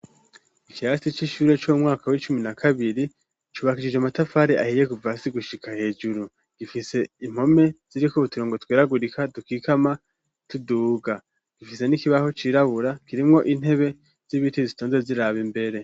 Ikirasi c'ishure co mu mwaka w'icumi na kabiri, cubakishije amatafari ahiye kuva hasi gushika hejuru, gifise impome ziriko uturongo tweragurika dukikama tuduga, gifise n'ikibaho cirabura, kirimwo intebe z'ibiti zitonze ziraba imbere.